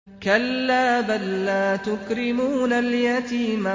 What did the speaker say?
كَلَّا ۖ بَل لَّا تُكْرِمُونَ الْيَتِيمَ